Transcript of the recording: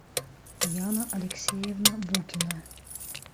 яна алексеевна букина